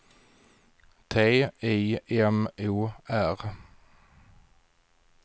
T I M O R